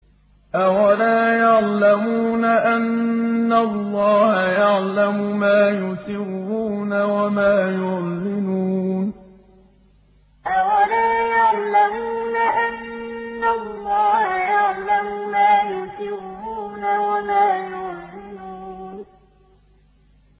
أَوَلَا يَعْلَمُونَ أَنَّ اللَّهَ يَعْلَمُ مَا يُسِرُّونَ وَمَا يُعْلِنُونَ أَوَلَا يَعْلَمُونَ أَنَّ اللَّهَ يَعْلَمُ مَا يُسِرُّونَ وَمَا يُعْلِنُونَ